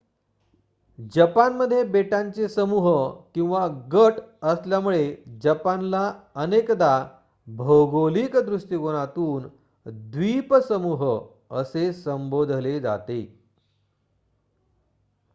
"जपानमध्ये बेटांचे समूह/गट असल्यामुळे जपानला अनेकदा भौगोलिक दृष्टिकोनातून "द्विपसमूह" असे संबोधले जाते.